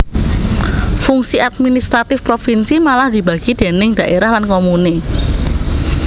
Fungsi administratif provinsi malah dibagi déning dhaérah lan komune